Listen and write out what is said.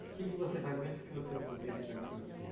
O que que você faz com eles que você não conseguia fazer com seus filhos?